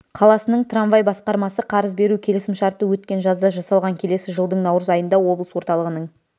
қаласының трамвай басқармасы қарыз беру келісімшарты өткен жазда жасалған келесі жылдың наурыз айында облыс орталығының